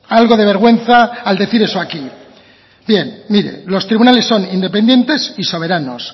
algo de vergüenza al decir eso aquí bien mire los tribunales son independientes y soberanos